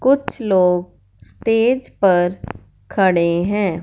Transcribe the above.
कुछ लोग स्टेज पर खड़े हैं।